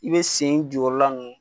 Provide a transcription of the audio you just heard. I be sen jukɔrɔla n